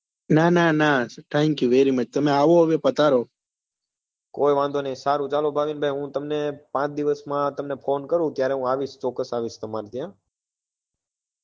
પાંચ દિવસ માં તમને phone કરું ત્યારે હું આવીશ ચોક્સ્સ આવીશ તમાર ત્યાં